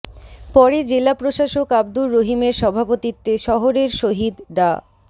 পরে জেলা প্রশাসক আবদুর রহিমের সভাপতিত্বে শহরের শহীদ ডা